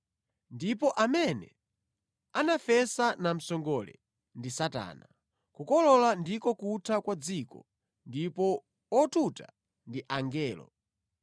Ndipo amene anafesa namsongole ndi Satana. Kukolola ndiko kutha kwa dzikoli ndipo otuta ndi angelo.